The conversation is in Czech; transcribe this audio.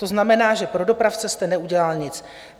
To znamená, že pro dopravce jste neudělal nic.